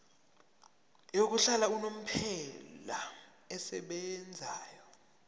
yokuhlala unomphela esebenzayo